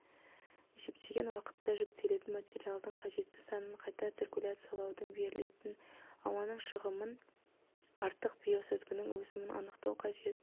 есептеген уақытта жүктелетін материалдың қажетті санын қайта циркуляциялаудың берілетін ауаның шығымын артық биосүзгінің өсімін анықтау қажет